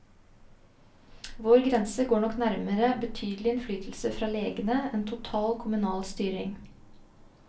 Vår grense går nok nærmere betydelig innflytelse fra legene enn total kommunal styring.